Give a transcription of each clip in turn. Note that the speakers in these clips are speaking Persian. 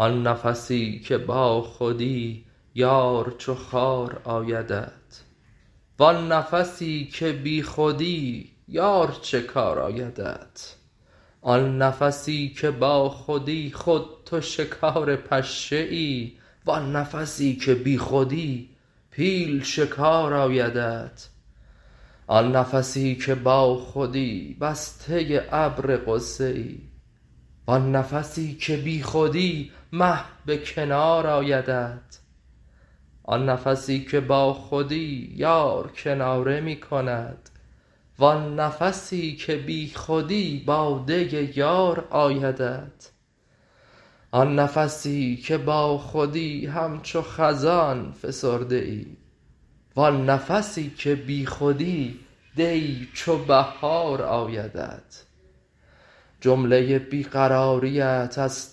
آن نفسی که باخودی یار چو خار آیدت وان نفسی که بیخودی یار چه کار آیدت آن نفسی که باخودی خود تو شکار پشه ای وان نفسی که بیخودی پیل شکار آیدت آن نفسی که باخودی بسته ابر غصه ای وان نفسی که بیخودی مه به کنار آیدت آن نفسی که باخودی یار کناره می کند وان نفسی که بیخودی باده یار آیدت آن نفسی که باخودی همچو خزان فسرده ای وان نفسی که بیخودی دی چو بهار آیدت جمله بی قراریت از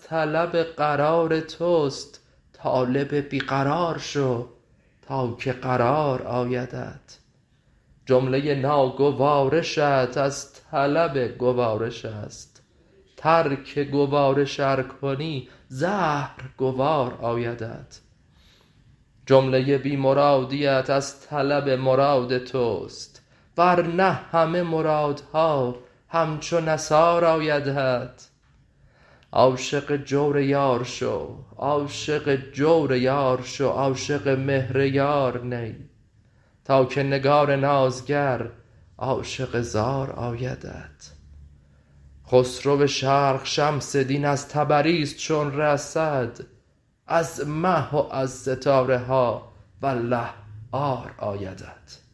طلب قرار توست طالب بی قرار شو تا که قرار آیدت جمله ناگوارشت از طلب گوارش است ترک گوارش ار کنی زهر گوار آیدت جمله بی مرادیت از طلب مراد توست ور نه همه مرادها همچو نثار آیدت عاشق جور یار شو عاشق مهر یار نی تا که نگار نازگر عاشق زار آیدت خسرو شرق شمس دین از تبریز چون رسد از مه و از ستاره ها والله عار آیدت